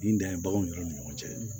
Nin dan ye baganw ni ɲɔgɔn cɛ